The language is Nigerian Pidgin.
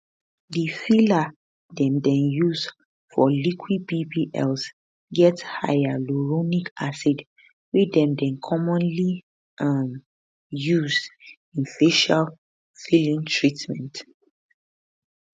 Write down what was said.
di filler dem dey use for liquid bbls get hyaluronic acid wey dem dey commonly um used in facial filling treatments